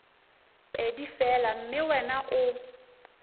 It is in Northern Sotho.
pedi fela mme wena o